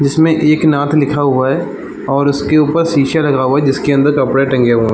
जिसमें एकनाथ लिखा हुआ है और उसके ऊपर शीशा लगा हुआ है जिसके अंदर कपड़ा टंगे हुए है।